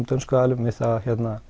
dönsku aðilum að